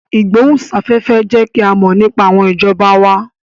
Ìgbóhùn sáfẹ́fẹ́ ń jẹ́ kí a mọ̀ nípa àwọn ìjọba wa